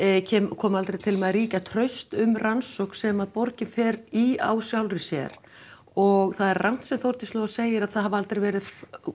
komi aldrei til með að ríkja traust um rannsókn sem að borgin fer í á sjálfri sér og það er rangt sem Þórdís Lóa segir að það hafi aldrei verið